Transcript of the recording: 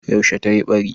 Yaushe tayi ɓari?